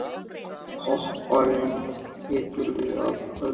Hver popparinn tekur við af öðrum.